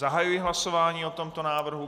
Zahajuji hlasování o tomto návrhu.